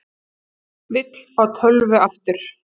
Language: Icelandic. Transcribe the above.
Vill fá tölvu aftur